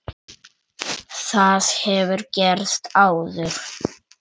Það hefur gerst áður.